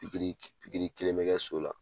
Pikiri pikiri Kelen bɛ kɛ so la.